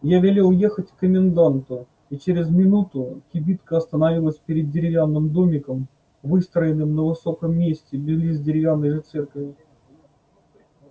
я велел ехать к коменданту и через минуту кибитка остановилась перед деревянным домиком выстроенным на высоком месте близ деревянной же церкви